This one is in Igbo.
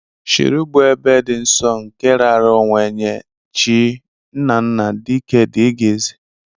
Shiriú bụ ebe di nsọ nke raara onwe nye chi, nnanna, dike dgz